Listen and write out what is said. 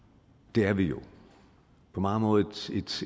det er vi jo på mange måder